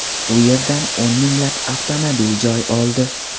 U yerdan o‘n minglab avtomobil joy oldi .